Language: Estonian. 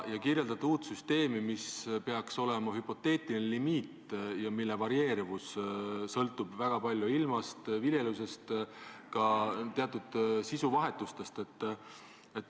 Te kirjeldate uut süsteemi, mis peaks olema rajatud hüpoteetilisele limiidile, mille varieeruvus sõltub väga palju ilmast, viljelusest ja muustki.